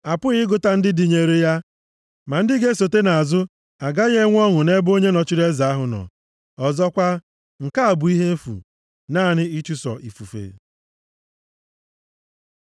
A pụghị ịgụta ndị dịnyere ya, ma ndị ga-esota nʼazụ agaghị enwe ọṅụ nʼebe onye nọchiri eze ahụ nọ. Ọzọkwa, nke a bụ ihe efu, naanị ịchụso ifufe.